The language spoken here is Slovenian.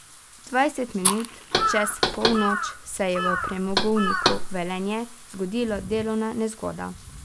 Dvajset minut čez polnoč se je v Premogovniku Velenje zgodila delovna nezgoda.